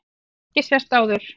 Höfum við ekki sést áður?